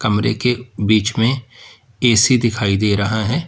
कमरे के बीच में ए_सी दिखाई दे रहा है।